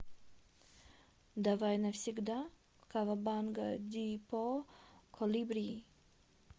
давай навсегда кавабанга дипо колибри